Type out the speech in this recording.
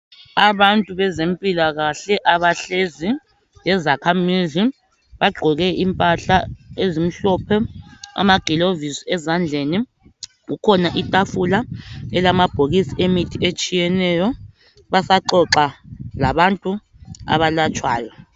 Abantu bezempilakahle abahlezi lezakhamizi, bagqoke impahla ezimhlophe amagilavisi ezandleni, kukhona itafula elamabhokisi emithi etshiyeneyo, basaxoxa labantu abalatshwayo.